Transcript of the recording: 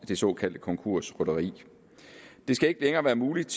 det såkaldte konkursrytteri det skal ikke længere være muligt